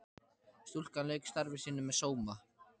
Stúlkan lauk starfi sínu með sóma.